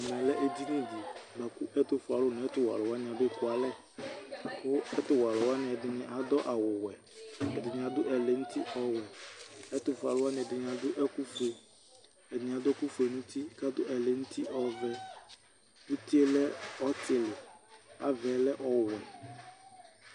Ɛtʋ fue alʋ nʋ ɛtʋ wɛ alʋ wanɩ abe kualɛ Ɛtʋ wɛ alʋ wanɩ adʋ awʋ wɛ,k' ɛdɩnɩ adʋ ɛlɛ nuti ɔwɛƐtʋ fue alʋ wanɩ bɩ adʋ ɛkʋ fue, ɛdɩnɩ adʋ ɛkʋ fue nuti kadʋ ɛlɛ nuti ɔvɛ; utie ɔlɛ ɔtɩlɩ, ava yɛ lɛ ɔwɛ